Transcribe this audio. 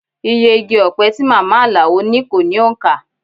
Iye igi ọpẹ tí màmá Alao ní kó ní òǹkà